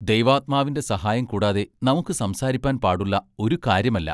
ദൈവാത്മാവിന്റെ സഹായം കൂടാതെ നമുക്ക് സംസാരിപ്പാൻ പാടുള്ള ഒരു കാര്യമല്ല.